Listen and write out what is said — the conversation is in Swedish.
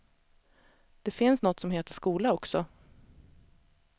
Det finns något som heter skola också.